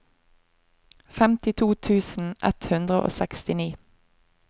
femtito tusen ett hundre og sekstini